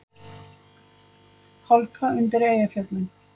Hálka undir Eyjafjöllum